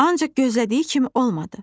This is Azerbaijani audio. Ancaq gözlədiyi kimi olmadı.